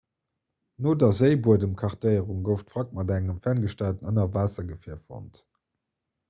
no der séibuedemkartéierung gouf d'wrack mat engem ferngesteierten ënnerwaassergefier fonnt